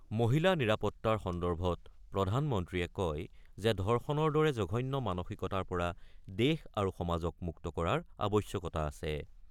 মহিলা নিৰাপত্তাৰ সন্দৰ্ভত প্ৰধানমন্ত্ৰীয়ে কয় যে ধৰ্ষণৰ দৰে জঘন্য মানসিকতাৰ পৰা দেশ আৰু সমাজক মুক্ত কৰাৰ আৱশ্যকতা আছে।